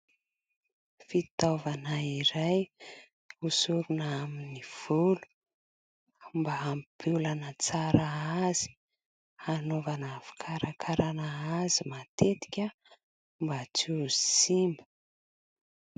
Fitaovana iray osorana amin'ny volo mba hampiolana tsara azy, hanaovana fikarakarana azy matetika mba tsy ho simba.